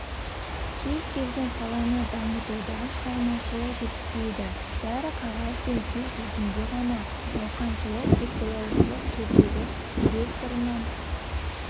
кез келген саланы дамытуда шығармашылық жетіспейді бәрі қағаз бен сөз жүзінде ғана науқаншылық көзбояушылық төрдегі директорынан